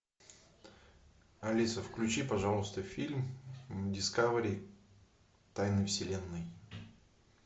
алиса включи пожалуйста фильм дискавери тайны вселенной